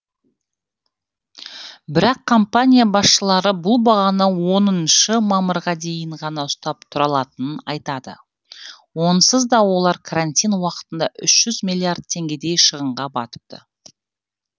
бірақ компания басшылары бұл бағаны оныншы мамырға дейін ғана ұстап тұра алатынын айтады онсыз да олар карантин уақытында үш жүз миллиард теңгедей шығынға батыпты